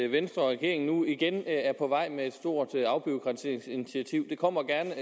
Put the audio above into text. venstre og regeringen nu igen er på vej med et stort afbureaukratiseringsinitiativ det kommer gerne